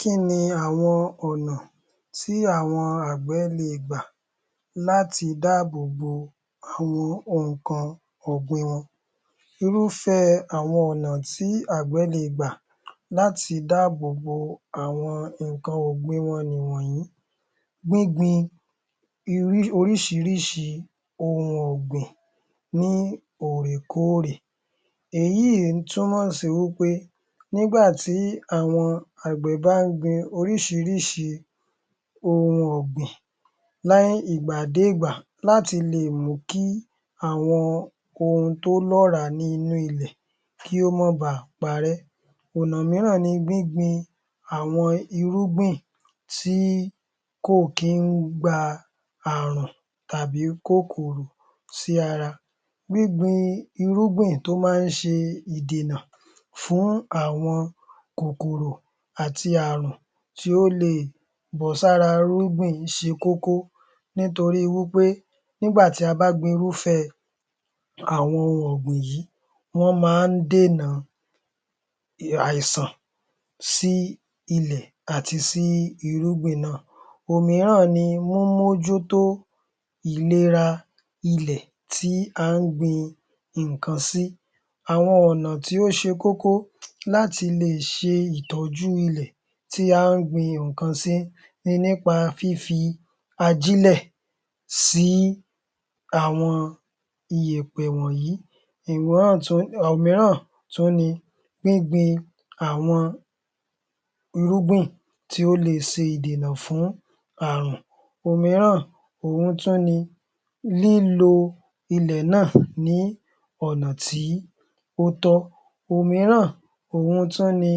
Kí ni àwọn ọ̀nà tí àwọn àgbẹ̀ le è gbà láti dáàbòbo àwọn nǹkan ọ̀gbìn wọn. Irúfẹ́ àwọn ọ̀nà tí àwọn àgbẹ̀ le è gbà láti dáàbòbo àwọn nǹkan ọ̀gbìn wọn nìwọ̀nyí. Gbíngbin oríṣiríṣi ohun ọ̀gbìn lóòrèkóòrè, èyí túnmọ̀ sí wí pé nígbà tí àwọn àgbẹ̀ bá ń gbin oríṣiríṣi ohun ọ̀gbìn ní ìgbà dé ìgbà láti lè mú kí àwọn ohun tó lọ́ràá nínú ilẹ̀ kí ó má baà parẹ́. Ọ̀nà míràn ni gbíngbin àwọn irúgbìn tí kò kín gba àrùn tàbí kòkòrò sí ara. Gbíngbin irúgbìn tó má ń ṣe ìdènà fún àwọn kòkòrò àti àrùn tí ó lè bọ́ sí ara irúgbìn ṣe kókó nítorí wí pé nígbà tí a bá gbin irúfẹ́ àwọn ohun ọ̀gbìn yí, wọ́n má ń dènà aìsàn sí ilẹ̀ àti sí irúgbìn náà. Òmíràn ni mímú ojú tó ìlera ilẹ̀ tí à ń gbin nǹkan sí. Àwọn ọ̀nà tí ó ṣe kókó láti lè ṣe ìtọ́jú ilẹ̀ tí à ń gbin nǹkan si ni nípa fífi ajílẹ̀ sí àwọn iyẹ̀pẹ̀ wọ̀nyí. Ọ̀nà míràn tún ni gbíngbin àwọn irúgbìn tí ó lè ṣe ìdènà fún àruǹ. Òmíràn òhun tún ni lílo ilẹ̀ náà ní ọ̀nà tí ó tọ́. Òmíràn òhun tún ni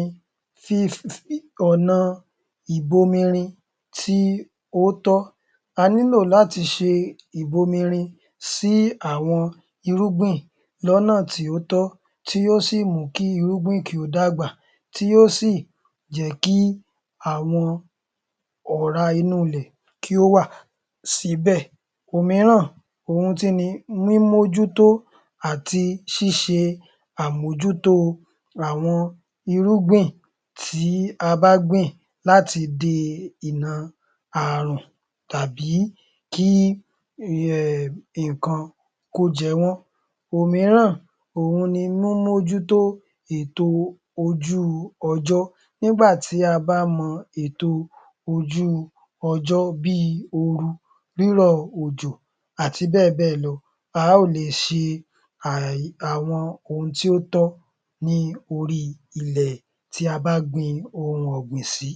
ọ̀nà ìbomirin tí ó tọ́. A nílò láti ṣe ìbomirin sí àwọn irúgbìn lọ́nà tí ó tọ́ tí yóò sì mú kí irúgbìn kí ó dàgbà, tí ó sì jẹ́ kí àwọn ọ̀rá inú ilẹ̀ wà síbẹ̀. Òmíràn òhun tún ni, mímú ojú tó àti ṣíṣe àmójútó àwọn irúgbìn tí a bá gbìn láti dèna àrùn tàbí kí nǹkan kó jẹ wọ́n. Òmíràn ohun ni mímú ojú tó ètò ojú ọjọ́. Nígbà tí a bá mọ ètò ojú ọjọ́ bíi oru, rírọ̀ ọ̀jọ̀ àti bẹ́ẹ̀ bẹ́ẹ̀ lọ a ó le è ṣe àwọn ohun tí ó tọ́ ní orí ilẹ̀ tí a bá gbin ohun ọ̀gbìn sí.